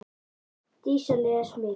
Dísa les mikið.